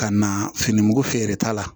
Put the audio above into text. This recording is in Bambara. Ka na fini mugu feere ta la